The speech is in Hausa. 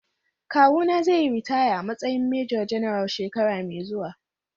Kawuna zai yi ritaya a matsayin Major-General shekara mai zuwa.